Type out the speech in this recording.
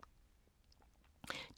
DR1